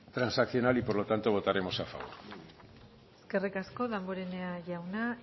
transaccional y por lo tanto votaremos a favor eskerrik asko damborenea jauna